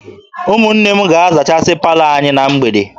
Ụmụnne m ga-azachasị palọ anyị na mgbede